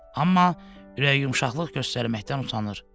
Amma ürəyiyumşaqlıq göstərməkdən utanır.